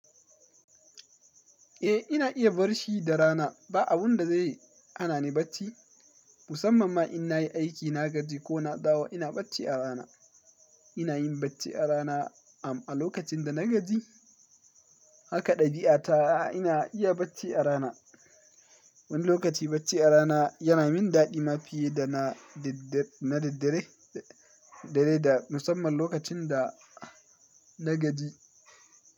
Eh ina iya bar shi da rana ba abun da zai hana ni bacci. Musamman ma in na yi aiki na gaji ko na dawo ina bacci a rana. Ina yin bacci a rana am a lokacin da na gaji haka ɗabi'a ta ina iya bacci a rana. Wani lokaci bacci a rana yana min daɗi ma fiye da na daddere, da dare da musamman lokacin da na gaji.